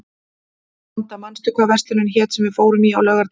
Vanda, manstu hvað verslunin hét sem við fórum í á laugardaginn?